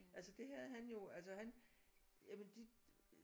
Altså det havde han jo altså han jamen de